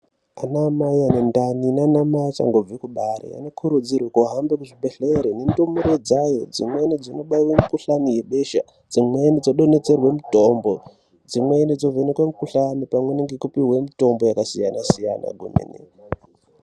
Anamai anendani naanamai achangobve kubara anokurudzirwe kuhambe kuzvibhehleri nendumure dzayo . Dzimweni dzinobaiwe mikuhlani yebesha. Dzimweni dzodonhedzerwe mutombo, dzimweni dzovhenekwe mukuhlani pamweni ngekupiwwa miuombo yakasiyana-siyana kwemene.